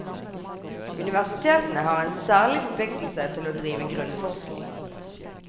Universitetene har en særlig forpliktelse til å drive grunnforskning.